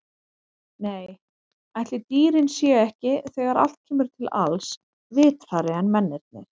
Nei, ætli dýrin séu ekki, þegar allt kemur til alls, vitrari en mennirnir.